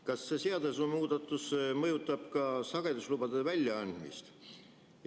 Kas see seadusemuudatus mõjutab ka sageduslubade väljaandmist?